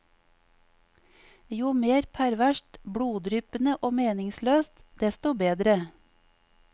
Jo mer perverst, bloddryppende og meningsløst, desto bedre.